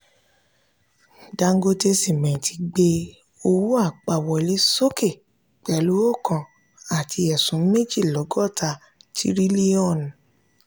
dangote simenti gbé owó apá wọlé sókè pẹ̀lú oókan àti ẹ̀sún méjì lógotá tirilionu.